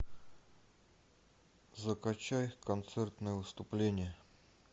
закачай концертное выступление